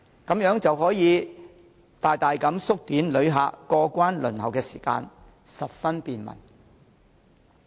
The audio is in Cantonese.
這樣可以大大縮短旅客過關輪候的時間，十分便民。